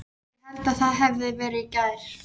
Ég hélt það hefði verið í gær.